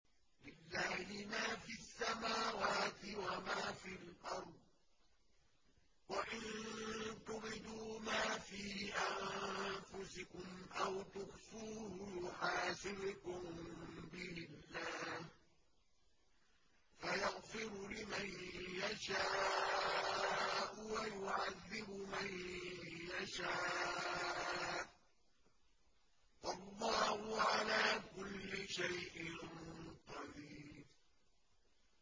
لِّلَّهِ مَا فِي السَّمَاوَاتِ وَمَا فِي الْأَرْضِ ۗ وَإِن تُبْدُوا مَا فِي أَنفُسِكُمْ أَوْ تُخْفُوهُ يُحَاسِبْكُم بِهِ اللَّهُ ۖ فَيَغْفِرُ لِمَن يَشَاءُ وَيُعَذِّبُ مَن يَشَاءُ ۗ وَاللَّهُ عَلَىٰ كُلِّ شَيْءٍ قَدِيرٌ